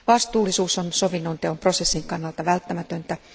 Vastuullisuus on sovinnonteon prosessin kannalta välttämätöntä.